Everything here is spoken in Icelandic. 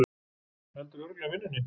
Heldurðu örugglega vinnunni?